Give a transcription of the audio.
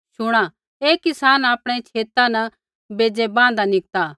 शुणा एक किसान आपणै छेता न बेज़ै बाँहदा निकता